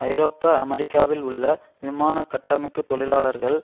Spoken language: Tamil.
ஐரோப்பா அமெரிக்காவில் உள்ள விமான கட்டமைப்பு தொழிலாளர்கள்